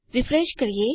refresh કરીએ